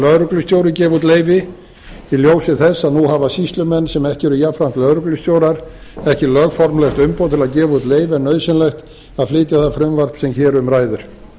lögreglustjóri gefi út leyfi í ljósi þess að nú hafa sýslumenn sem ekki eru jafnframt lögreglustjórar ekki lögformlegt umboð til að gefa út leyfi en nauðsynlegt að flytja það frumvarp sem hér um ræðir